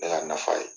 Ne ka nafa ye